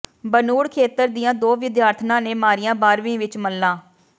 ਬਨੂੜ ਖੇਤਰ ਦੀਆਂ ਦੋ ਵਿਦਿਆਰਥਣਾਂ ਨੇ ਮਾਰੀਆਂ ਬਾਰ੍ਹਵੀਂ ਵਿੱਚ ਮੱਲਾਂ